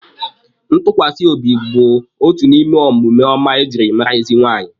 Ntukwasiobi bụ otu n'ime omume ọma ejiri mara ezi nwaanyị